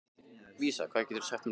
Vísa, hvað geturðu sagt mér um veðrið?